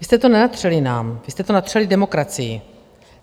Vy jste to nenatřeli nám, vy jste to natřeli demokracii.